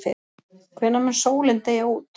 Hvenær mun sólin deyja út?